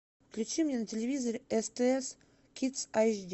включи мне на телевизоре стс кидс айч ди